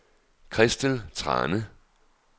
Christel Thrane